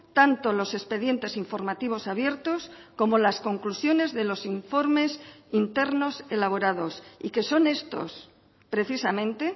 tanto los expedientes informativos abiertos como las conclusiones de los informes internos elaborados y que son estos precisamente